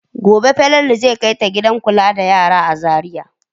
Gobe Falalu zai kai ta gidan kula da yara a Zariya.